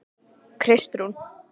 Kristrún